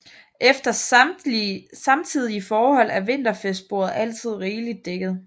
Efter samtidige forhold er vinterfestbordet altid rigeligt dækket